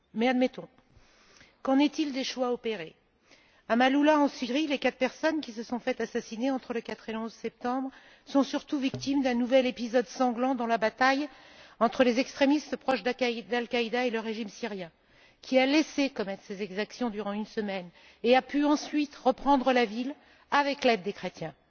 Mais admettons, qu'en est il des choix opérés? À Maaloula, en Syrie, les quatre personnes qui se sont fait assassiner entre le 4 et le 11 septembre sont surtout victimes d'un nouvel épisode sanglant dans la bataille entre les extrémistes proches d'Al Qaïda et le régime syrien, qui a laissé commettre ces exactions durant une semaine et a pu, ensuite, reprendre la ville avec l'aide des chrétiens.